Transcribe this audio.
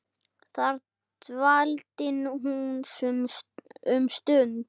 Þar dvaldi hún um stund.